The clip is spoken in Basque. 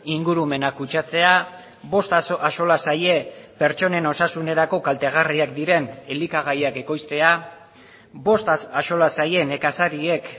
ingurumena kutsatzea bost axola zaie pertsonen osasunerako kaltegarriak diren elikagaiak ekoiztea bost axola zaie nekazariek